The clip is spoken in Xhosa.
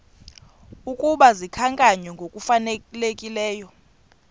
ukuba zikhankanywe ngokufanelekileyo